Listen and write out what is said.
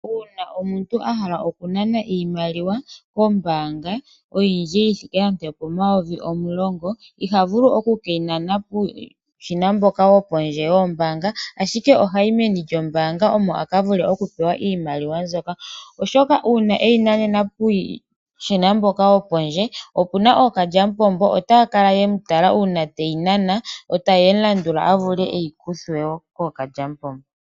Uuna omuntu ahala oku nana iimaliwa kombaanga oyindji yithike nenge opo mayovi omulongo, iha vulu oku ke yi nana puushina mboka wombaanga wopondje, ashike oha yi meni lyombaanga omo aka vule oku pewa iimaliwa mbyoka. Uuna eyi na nena puushina mboka wo po ndje, opuna ookadjamupombo, ota ta ya kala ye mu tala uuna te yi nana, yo ta ye mu landula ye yi mukuthe.